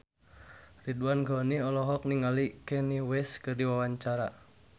Ridwan Ghani olohok ningali Kanye West keur diwawancara